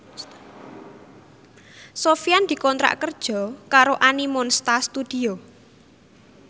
Sofyan dikontrak kerja karo Animonsta Studio